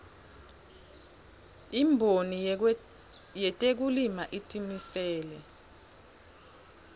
imboni yetekulima itimisele